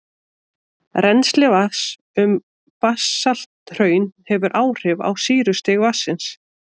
Rennsli vatns um basalthraun hefur áhrif á sýrustig vatnsins.